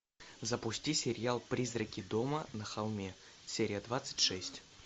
запусти сериал призраки дома на холме серия двадцать шесть